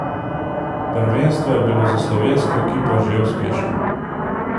Prvenstvo je bilo za slovensko ekipo že uspešno.